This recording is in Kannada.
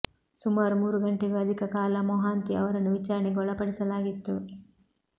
ಸುಮಾರು ಮೂರು ಗಂಟೆಗೂ ಅಧಿಕ ಕಾಲ ಮೊಹಾಂತಿ ಅವರನ್ನು ವಿಚಾರಣೆಗೆ ಒಳಪಡಿಸಲಾಗಿತ್ತು